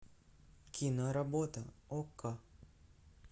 киноработа окко